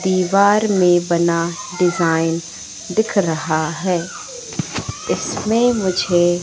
दीवार में बना डिजाइन दिख रहा है इसमें मुझे--